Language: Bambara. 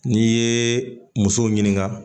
N'i ye muso ɲiniŋa